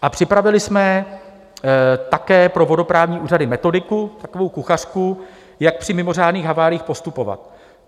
A připravili jsme také pro vodoprávní úřady metodiku, takovou kuchařku, jak při mimořádných haváriích postupovat.